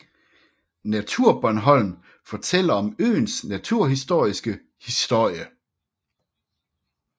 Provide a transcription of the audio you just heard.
NaturBornholm fortæller om øens naturhistoriske historie